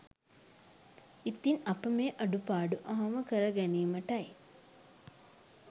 ඉතින් අප මේ අඩුපාඩු අවම කරගැනීමටයි